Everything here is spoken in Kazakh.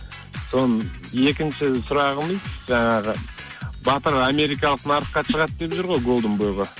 соның екінші сұрағымыз жаңағы батыр америкалық нарыққа шығады деп жүр ғой голден бойға